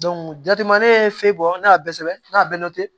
jate ma ne ye fɛn bɔ ne y'a bɛɛ sɛbɛn ne